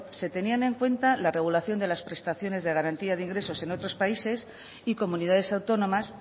se tenían en cuenta la regulación de las prestaciones de garantía de ingresos en otros países y comunidades autónomas